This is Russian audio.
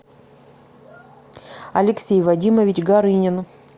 алексей вадимович горынин